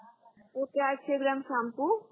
okay आठशे gram shampoo